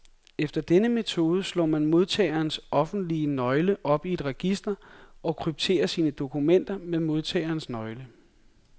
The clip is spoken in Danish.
Efter denne metode slår man modtagerens offentlige nøgle op i registret, og krypterer sine dokumenter med modtagerens nøgle.